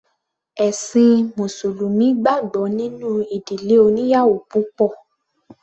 Ẹ̀ṣin mùsùlùmí gbàgbọ́ nínú ìdílé oníyàwò púpọ̀.